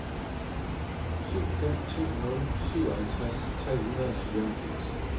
syv fem to nul syvoghalvtreds tre hundrede og fireoghalvfjerds